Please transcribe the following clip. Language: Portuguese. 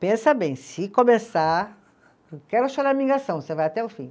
Pensa bem, se começar, não quero, você vai até o fim.